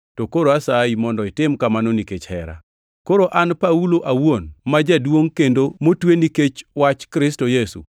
to koro asayi mondo itim kamano nikech hera. Koro an Paulo awuon, ma jaduongʼ, kendo motwe nikech wach Kristo Yesu,